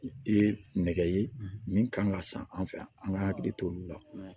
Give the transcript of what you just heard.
Ye nɛgɛ ye min kan ka san an fɛ yan an ka hakili to olu la